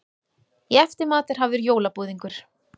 Í eftirmat er hafður jólabúðingur.